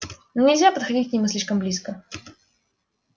но нельзя подходить к нему слишком близко